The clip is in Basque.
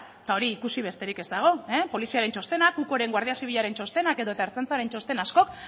eta hori ikusi besterik ez dago poliziaren txostenak ucoren guardia zibilaren txostenak edota ertzaintzaren txosten askok